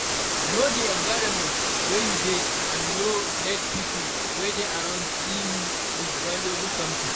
Know di environment wey you dey and no let pipo wey dey around see you with valuable something